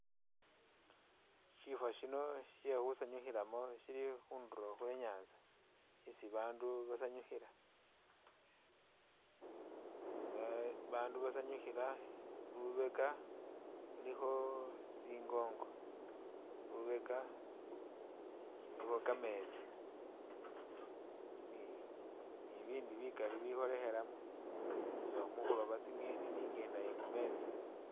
Syifo syino sye khusaanyukhilamo sili khundulo khwe nyaanza isi abaandu basanyukhila. Abaandu basanyukhila lubeka luliikho tsingongo, lubeka lulikho kameetsi, ni bibindi bikali bikholekhelamo nga mukhuloba tsi'ngeni ni i'ngenda ye khu meetsi.